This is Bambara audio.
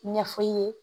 Ɲɛfɔ i ye